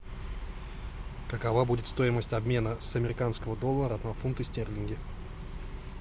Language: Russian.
какова будет стоимость обмена с американского доллара на фунты стерлинги